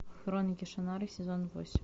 хроники шаннары сезон восемь